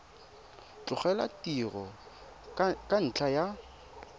tlogela tiro ka ntlha ya